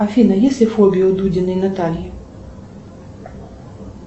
афина есть ли фобии у дудиной натальи